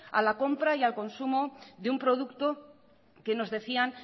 a la compra y al consumo de un producto que nos decían